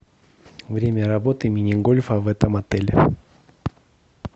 время работы мини гольфа в этом отеле